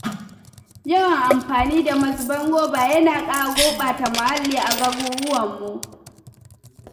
Yawan amfani da mazuban roba yana ƙara gurbata muhalli a garuruwanmu.